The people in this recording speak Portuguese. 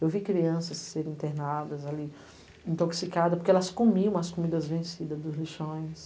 Eu vi crianças serem internadas ali, intoxicadas, porque elas comiam as comidas vencidas dos lixões.